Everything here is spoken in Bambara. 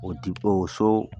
O